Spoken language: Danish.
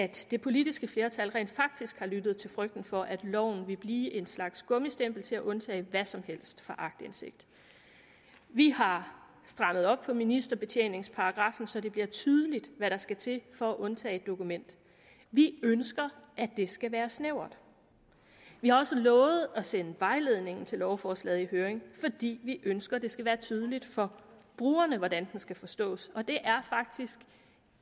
det politiske flertal rent faktisk har lyttet til frygten for at loven vil blive en slags gummistempel til at undtage hvad som helst fra aktindsigt vi har strammet op på ministerbetjeningsparagraffen så det bliver tydeligt hvad der skal til for at undtage et dokument vi ønsker at det skal være snævert vi har også lovet at sende vejledningen til lovforslaget i høring fordi vi ønsker det skal være tydeligt for brugerne hvordan den skal forstås og det er faktisk